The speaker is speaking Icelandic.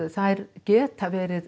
þær geta verið